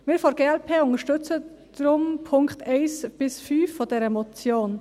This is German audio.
Wir von der glp unterstützen deshalb die Punkte 1–5 der Motion.